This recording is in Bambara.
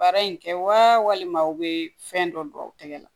Baara in kɛ walima aw bɛ fɛn dɔ dɔn aw tɛgɛ la